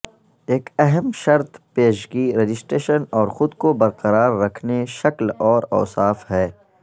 ایک اہم شرط پیشگی رجسٹریشن اور خود کو برقرار رکھنے شکل اور اوصاف ہے